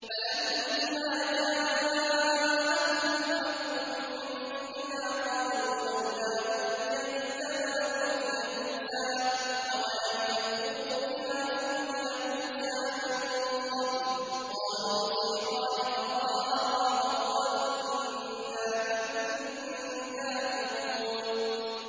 فَلَمَّا جَاءَهُمُ الْحَقُّ مِنْ عِندِنَا قَالُوا لَوْلَا أُوتِيَ مِثْلَ مَا أُوتِيَ مُوسَىٰ ۚ أَوَلَمْ يَكْفُرُوا بِمَا أُوتِيَ مُوسَىٰ مِن قَبْلُ ۖ قَالُوا سِحْرَانِ تَظَاهَرَا وَقَالُوا إِنَّا بِكُلٍّ كَافِرُونَ